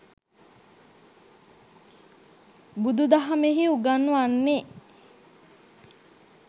බුදු දහමෙහි උගන්වන්නේ